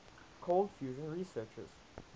cold fusion researchers